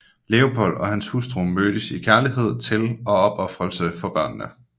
Leopold og hans hustru mødtes i kærlighed til og opofrelse for børnene